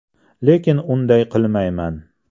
Lekin unday qilmayman.